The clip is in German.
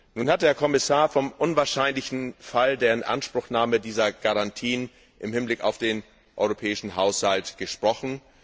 Nun hat der Kommissar vom unwahrscheinlichen Fall der Inanspruchnahme dieser Garantien im Hinblick auf den Europäischen Haushalt gesprochen.